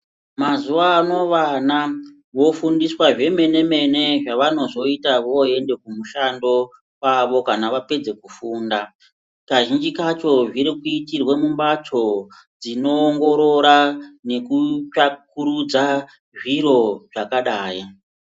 Mazuva ano vana vo fundiswa zve mene mene zva vanozoita voende ku mushando kwavo kana vapedza ku funda kazhinji kacho zviri kuitirwe mu mbatso dzino ongorora neku tsvakurudza zviro zvakadai.